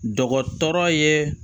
Dɔgɔtɔrɔ ye